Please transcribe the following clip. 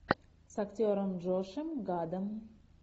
с актером джошем гадом